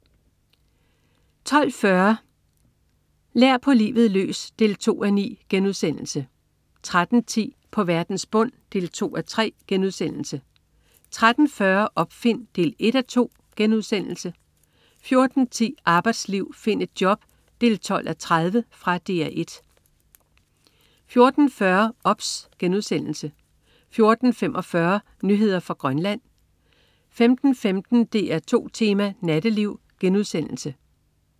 12.40 Lær på livet løs 2:9* 13.10 På verdens bund 2:3* 13.40 Opfind 1:2* 14.10 Arbejdsliv, find et job 12:30. Fra DR 1 14.40 OBS* 14.45 Nyheder fra Grønland 15.15 DR2 Tema: Natteliv*